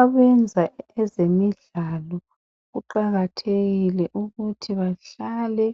Abayenza ezemidlalo kuqakathekile ukuthi bahlale